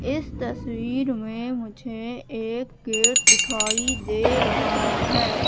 इस तस्वीर में मुझे एक गेट दिखाई दे रहा है।